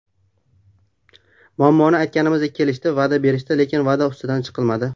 Muammoni aytganimizda, kelishdi, va’da berishdi, lekin va’da ustidan chiqilmadi.